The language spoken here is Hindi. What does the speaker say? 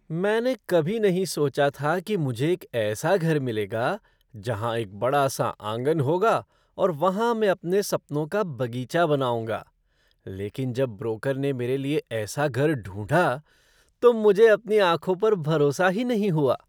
मैंने कभी नहीं सोचा था कि मुझे एक ऐसा घर मिलेगा जहां एक बड़ा सा आँगन होगा और वहाँ मैं अपने सपनों का बगीचा बनाऊंगा, लेकिन जब ब्रोकर ने मेरे लिए ऐसा घर ढूंढ़ा, तो मुझे अपनी आँखों पर भरोसा ही नहीं हुआ।